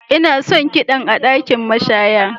Ina son kiɗan a ɗakin mashaya.